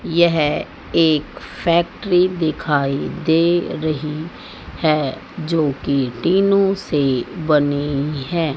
यह एक फैक्ट्री दिखाई दे रही है जो कि टीनो से बनी है।